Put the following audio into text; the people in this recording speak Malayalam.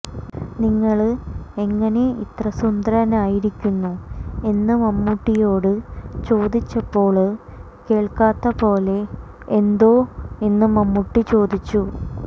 നിങ്ങള് എങ്ങനെ ഇത്ര സുന്ദരനായിരിക്കുന്നു എന്ന് മമ്മൂട്ടിയോട് ചോദിച്ചപ്പോള് കേള്ക്കാത്ത പോലെ എന്തോ എന്ന് മമ്മൂട്ടി ചോദിച്ചു